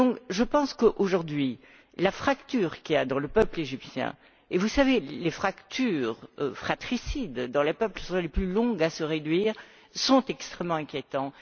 Je pense qu'aujourd'hui, la fracture qu'il y a dans le peuple égyptien et vous savez que les fractures fratricides dans les peuples sont les plus longues à se réduire est extrêmement inquiétante.